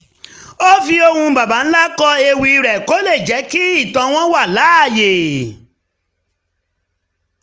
ó fi ohùn baba ńlá kọ ewì rẹ̀ kó lè jẹ́ kí ìtàn wọn wà láàyè